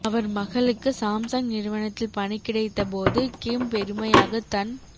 அவர் மகளுக்கு சாம்சங் நிறுவனத்தில் பணி கிடைத்த போது கிம் பெருமையாக தன்